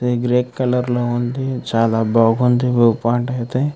Colour లో ఉంది చాలా బాహుంది వ్యూ పాయింట్ అయితే.